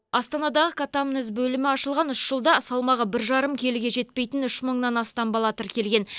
астанадағы катамнез бөлімі ашылған үш жылда салмағы бір жарым келіге жетпейтін үш мыңнан астам бала тіркелген